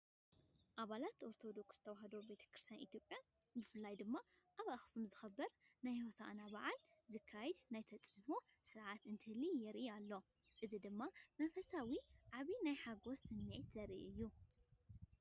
ኣባላት ኦርቶዶክስ ተዋህዶ ቤተክርስትያን ኢትዮጵያ ብፍላይ ኣብ ኣክሱም ዝኽበር ናይ ሆሳኢና በዓል ዝካየድ ናይ ተፂኢኖ ስነ ስርዓት እንትብሉ የርኢ ኣሎ፡፡ እዚ ድማ መንፈሳውነትን ዓቢ ናይ ሓጎስ ስምዒትን ዘርኢ እዩ።